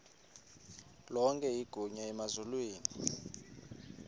lonke igunya emazulwini